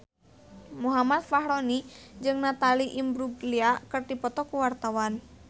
Muhammad Fachroni jeung Natalie Imbruglia keur dipoto ku wartawan